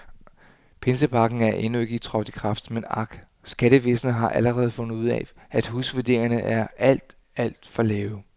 Pinsepakken er endnu ikke trådt i kraft, men ak, skattevæsnet har allerede fundet ud af, at husvurderingerne er alt, alt for lave.